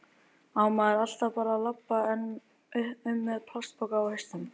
Á maður alltaf bara að labba um með plastpoka á hausnum?